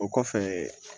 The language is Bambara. O kɔfɛ